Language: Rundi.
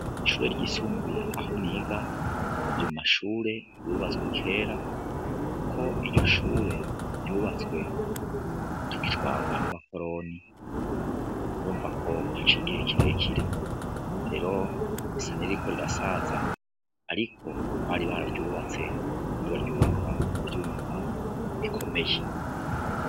Ishure ryisumbuye aho niga, riri mu mashure yubatswe kera ,kuko iryo shure ryubatswe tugitwagwa n'abakoroni, urumva ko haciye igihe kirekire risa niririko rirasaza, ariko bari bararyubatse kandi baryubaka mu vyuma bikomeye.